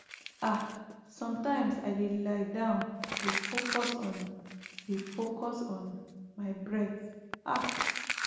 ah sometimes i dey lie down dey focus on dey focus on my breath ah